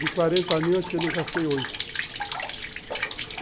De quarenta mil, acho que eu não gastei oito.